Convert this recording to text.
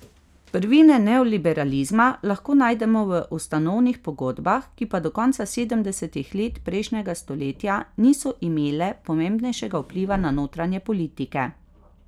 Prvine neoliberalizma lahko najdemo v ustanovnih pogodbah, ki pa do konca sedemdesetih let prejšnjega stoletja niso imele pomembnejšega vpliva na notranje politike.